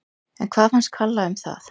En hvað fannst Kalla um það?